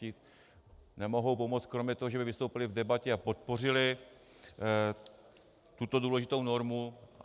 Ti nemohou pomoct kromě toho, že by vystoupili v debatě a podpořili tuto důležitou normu.